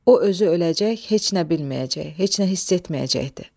O özü öləcək, heç nə bilməyəcək, heç nə hiss etməyəcəkdi.